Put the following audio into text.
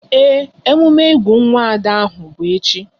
Ee, emume ịgụ nwa Ada aha bụ echi